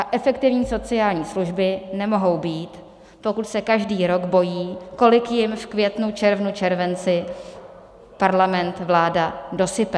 A efektivní sociální služby nemohou být, pokud se každý rok bojí, kolik jim v květnu, červnu, červenci Parlament, vláda dosype.